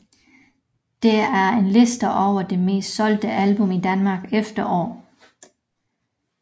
Dette er en liste over de mest solgte album i Danmark efter år